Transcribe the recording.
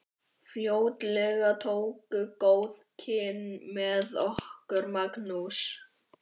Fljótlega tókust góð kynni með okkur Magnúsi.